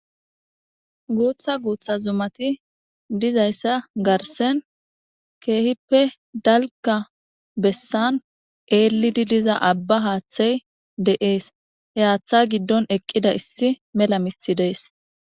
Guutha guutha zumati dizayssa garssen keehippe dalga bessan eellidi diza abba haaththay de7ees. He haaththa giddon eqqida issi mela mithi dees.